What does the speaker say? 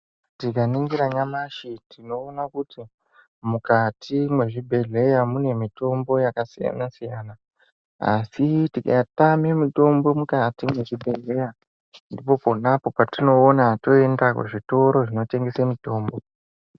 Tika ningira nyamashi tinooona kuti mukati mezvi bhedhleya mune mitombo yaka siyana siyana asi tika tame mitombo mukati me zvibhedhleya ndipo ponapo patinoona toenda ku zvitoro zvino tengese mitombo.